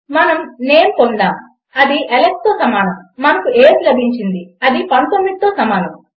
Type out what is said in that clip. మనం నేమ్ పొందాము అది Alexతో సమానం మనకు ఏజ్ లభించింది అది 19తో సమానం